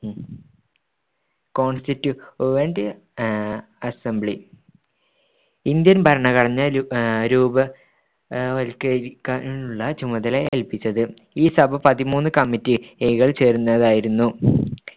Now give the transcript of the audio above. constituent assembly Indian ഭരണഘടന രൂപ വത്കരിക്കുന്നതിനുള്ള ചുമതല ഏൽപിച്ചത്‌ ഈ സഭ പതിമൂന്നു കമ്മിറ്റികൾ ചേർന്നതായിരുന്നു